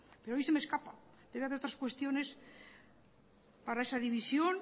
pero hoy se me escapa debe de haber otras cuestiones para esa división